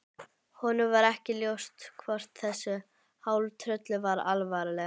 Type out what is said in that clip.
Honum var ekki ljóst hvort þessu hálftrölli var alvara.